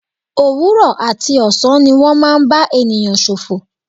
Òwúrọ̀ àti ọ̀sán ni wọ́n máa ń bá ènìyàn ṣòfò.